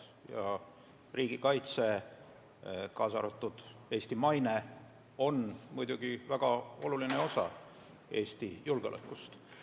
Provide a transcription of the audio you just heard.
Ja riigikaitse, kaasa arvatud Eesti maine on muidugi väga oluline osa Eesti julgeolekust.